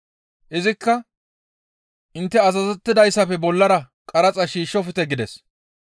«Izikka, ‹Intte azazettidayssafe bollara qaraxa shiishshofte› gides.